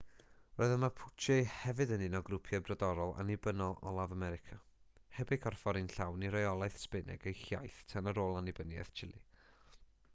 roedd y mapuche hefyd yn un o grwpiau brodorol annibynnol olaf america heb eu corffori'n llawn i reolaeth sbaeneg ei hiaith tan ar ôl annibyniaeth chile